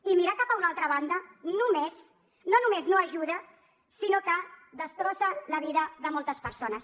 i mirar cap a una altra banda no només no ajuda sinó que destrossa la vida de moltes persones